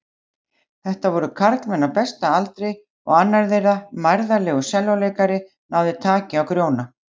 Þetta voru karlmenn á besta aldri og annar þeirra, mærðarlegur sellóleikari, náði taki á Grjóna.